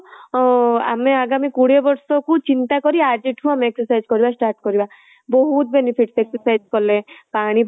ଆମେ ଆଗାମୀ କୋଡିଏ ବର୍ଷ କୁ ଚିନ୍ତା କରି ଆଜିଠୁ exercise କରିବା start କରିବା ବହୁତ benefit exercise କଲେ ପାଣି ଭଲସେ